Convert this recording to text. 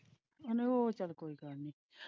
ਕਹਿੰਦੇ ਉਹ ਚੱਲ ਕੋਈ ਗੱਲ ਨਹੀਂ।